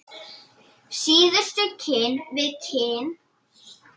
Síðustu kinn við kinn.